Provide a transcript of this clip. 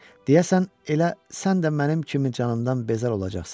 Deyəsən elə sən də mənim kimi canımdan bezər olacaqsan.